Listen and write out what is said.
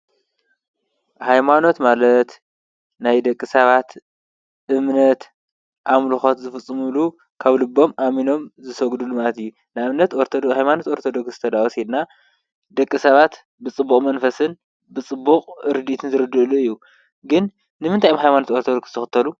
ሃይማኖት ማለት ናይ ደቂ ሰባት እምነት ኣምልኮት ዝፍፅሙሉ ካብ ልቦም ኣሚኖም ዝሰግድሉ ማለት እዩ፡፡ ንኣብነት ኦርቶዶክ ሃይማኖት ኦርቶዶክስ ተድኣ ወሲድና ደቂ ሰባት ብፅቡቅ መንፈስን ብፅቡቅ ርድኢትን ዝርድኡሉ እዩ፡፡ ግን ንምንታይ እዮም ሃይማኖት ኦርቶዶክስ ዝኽተሉ?